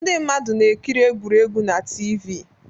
Ndị mmadụ na-ekiri egwuregwu na TV